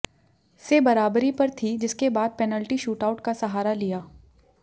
से बराबरी पर थी जिसके बाद पेनल्टी शूटआउट का सहारा लिया